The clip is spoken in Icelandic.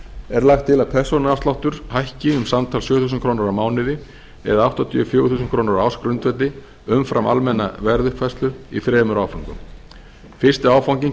er lagt til að persónuafsláttur hækki um samtals sjö þúsund krónur á mánuði eða áttatíu og fjögur þúsund krónur á ársgrundvelli umfram almenna verðuppfærslu í þremur áföngum fyrsti áfanginn